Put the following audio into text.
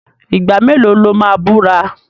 Ìgbà mélòó lo máa búra?